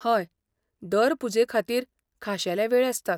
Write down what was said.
हय, दर पुजेखातीर खाशेले वेळ आसतात.